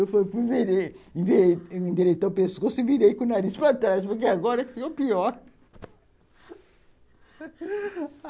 endireitar o pescoço e virei com o nariz para trás, porque agora ficou pior